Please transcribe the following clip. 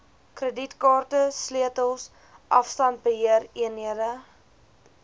kredietkaarte sleutels afstandbeheereenhede